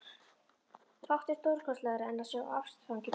Fátt er stórkostlegra en að sjá ástfangið par.